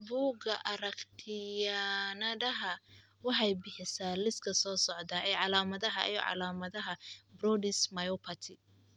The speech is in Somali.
Bugga aragtiyahaaanadanaha. waxay bixisaa liiska soo socda ee calaamadaha iyo calaamadaha Brodys myopathy.